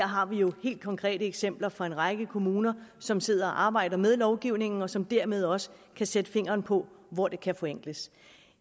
har vi jo helt konkrete eksempler fra en række kommuner som sidder og arbejder med lovgivningen og som dermed også kan sætte fingeren på hvor det kan forenkles